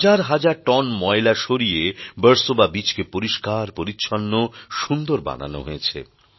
হাজার হাজার টন ময়লা সরিয়ে বার্সোবা বিচকে পরিষ্কার পরিচ্ছন্ন সুন্দর বানানো হয়েছে